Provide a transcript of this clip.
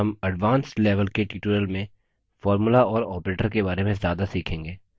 हम advanced level के tutorials में formulae और operators के बारे में ज्यादा सीखेंगे